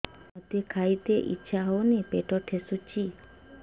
ମୋତେ ଖାଇତେ ଇଚ୍ଛା ହଉନି ପେଟ ଠେସୁଛି